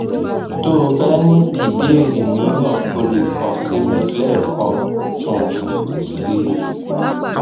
tó o bá ní ìbéèrè mìíràn o lè kàn sí mi lẹẹkan um sí i